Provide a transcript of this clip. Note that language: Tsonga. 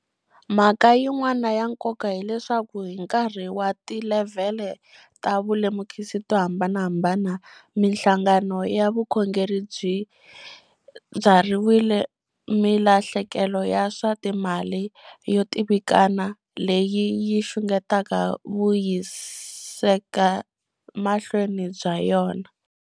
Mhaka yin'wana ya nkoka hileswaku hi nkarhi wa tilevhele ta vulemukisi to hambanahambana, mihlangano ya vukhongeri yi byarhile milahlekelo ya swa timali yo tivikana leyi yi xungetaka vuyisekamahlweni bya yona.